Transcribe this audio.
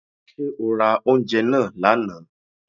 Ṣé o ra oúnjẹ náà lánàá.